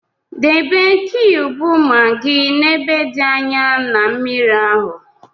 Debe kiyubu maggi n'ebe dị anyaa na mmiri ahụ